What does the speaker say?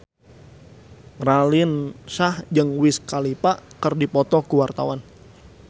Raline Shah jeung Wiz Khalifa keur dipoto ku wartawan